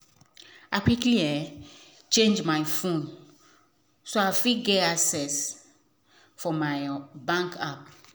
i quickly um change my phone so i fit get safe access for my um bank app